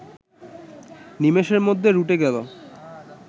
নিমেষের মধ্যে রটে গেল